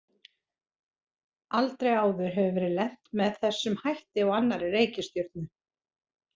Aldrei áður hefur verið lent með þessum hætti á annarri reikistjörnu.